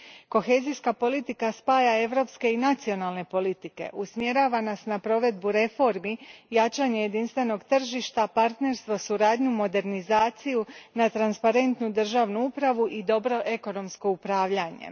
Kohezijska politika spaja europske i nacionalne politike, usmjerava nas na provedbu reformi, jačanje jedinstvenog tržišta, partnerstvo, suradnju, modernizaciju, na transparentnu državnu upravu i dobro ekonomsko upravljanje.